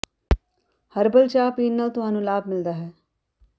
herbal ਚਾਹ ਪੀਣ ਨਾਲ ਤੁਹਾਨੂੰ ਲਾਭ ਮਿਲ ਸਕਦਾ ਹੈ